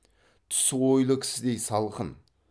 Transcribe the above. түсі ойлы кісідей салқын